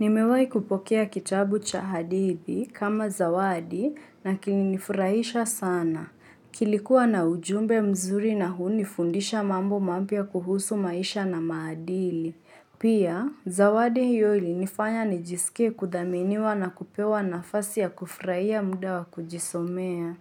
Nimewai kupokea kitabu cha hadithi kama zawadi na kilinifurahisha sana. Kilikuwa na ujumbe mzuri na hunifundisha mambo mapya kuhusu maisha na maadili. Pia, zawadi hiyo ilinifanya nijisikie kuthaminiwa na kupewa nafasi ya kufurahia muda wa kujisomea.